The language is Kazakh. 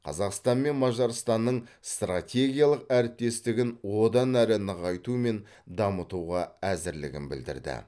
қазақстанмен мажарстанның стратегиялық әріптестігін одан әрі нығайту мен дамытуға әзірлігін білдірді